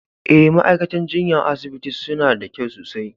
Eh, ma'aikatan jinya a'asibitin suna da kyau sosai.